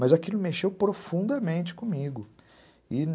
Mas aquilo mexeu profundamente comigo. E